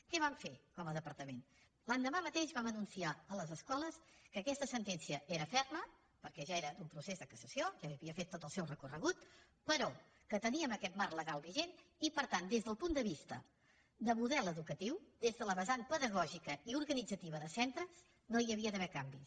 què vam fer com a departament l’endemà mateix vam anunciar a les escoles que aquesta sentència era ferma perquè ja era d’un procés de cassació ja havia fet tot el seu recorregut però que teníem aquest marc legal vigent i per tant des del punt de vista de model educatiu des de la vessant pedagògica i organitzativa de centres no hi havia d’haver canvis